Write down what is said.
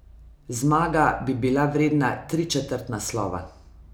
Zmaga bi bila vredna tričetrt naslova.